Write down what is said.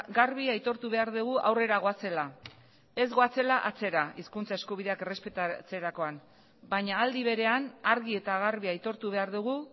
garbi aitortu behar dugu aurrera goazela ez goazela atzera hizkuntza eskubideak errespetatzerakoan baina aldi berean argi eta garbi aitortu behar dugu